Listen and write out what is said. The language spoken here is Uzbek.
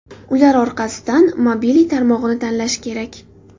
Ular orasidan Mobily tarmog‘ini tanlash kerak.